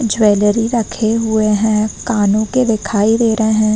Jewellery रखे हुए है कानों के दिखाई दे रहे है।